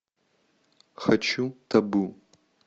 хочу табу